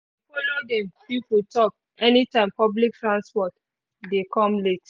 e dey follow dem people talk anytime public transport dey come late